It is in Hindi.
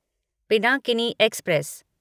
पिनाकिनी एक्सप्रेस